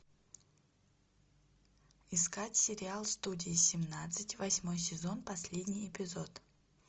искать сериал студия семнадцать восьмой сезон последний эпизод